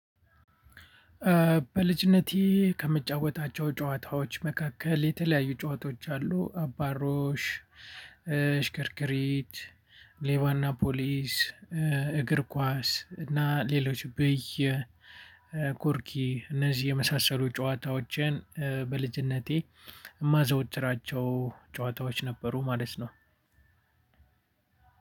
በልጅነቴ ከምጫወታቸው ጨዋታዎች መካከል የተለያዩ ጨዋታዎች አሉ አባሮሽ ሽክርክሪት ሌባና ፖሊስ እግር ኳስ እና ሌሎች ብይ ኮርኪ እነዚህ የመሳሰሉ ጨዋታዎችን በልጅነቴ ማዘወትራቸው ጨዋታዎች ነበሩ። ማለት ነው።